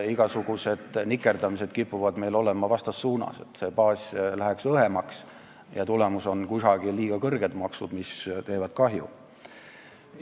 Igasugused nikerdamised kipuvad meil minema vastassuunas, baas läheb õhemaks ja tulemus on see, et kusagil on liiga kõrged maksud, mis teevad kahju.